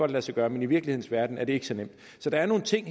lade sig gøre men i virkelighedens verden er det ikke så nemt så der er nogle ting